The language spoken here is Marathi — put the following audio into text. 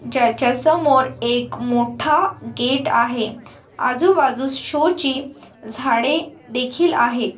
ज्याच्यासमोर एक मोठा गेट आहे. आजू-बाजूस शो ची झाडे देखील आहेत.